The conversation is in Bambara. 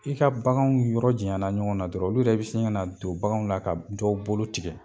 I ka baganw yɔrɔ jaɲana ɲɔgɔn na dɔrɔn olu yɛrɛ be se ŋana don baganw la ka dɔ bolo tigɛ.